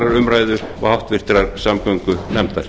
umræðu og háttvirtrar samgöngunefndar